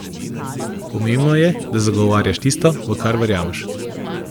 Pomembno je, da zagovarjaš tisto, v kar verjameš!